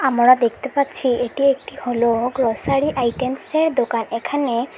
আমরা দেখতে পাচ্ছি এটি একটি হলো গ্রসারী আইটেম্সের দোকান এখানে--